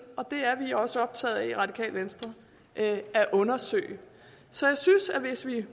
og det er vi også optaget af i radikale venstre at at undersøge så jeg synes at hvis vi